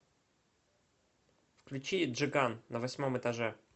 включи джиган на восьмом этаже